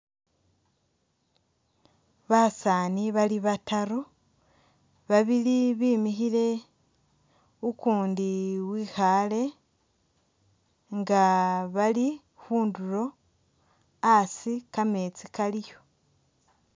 Basaani bali bataru, babili bimikhile, ukuundi wekhaale nga bali khundulo, asi kameetsi kaliyo.